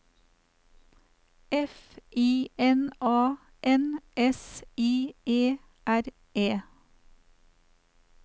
F I N A N S I E R E